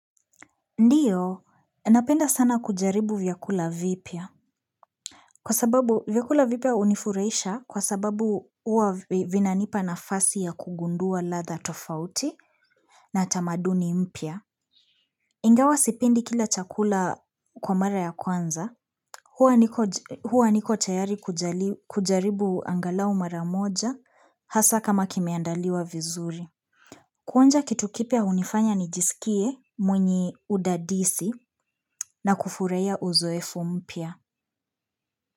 Ndio, napenda sana kujaribu vyakula vipya. Kwa sababu vyakula vipya unifuraisha kwa sababu huwa vinanipa nafasi ya kugundua ladha tofauti na tamaduni mpya. Ingawa sipendi kila chakula kwa mara ya kwanza. Hua niko Hua niko tayari kujali kujaribu angalau mara moja hasa kama kimeandaliwa vizuri. Kuonja kitu kipya hunifanya nijisikie mwenye udadisi na kufurahia uzoefu mpya.